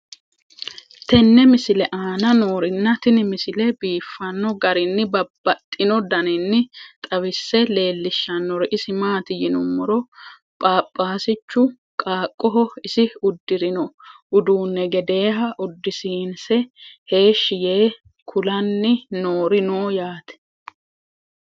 tenne misile aana noorina tini misile biiffanno garinni babaxxinno daniinni xawisse leelishanori isi maati yinummoro phaphasichu qaaqqoho isi udirinno uduunni gedeeha udisiinse heeshi yee kulanni noori noo yaatte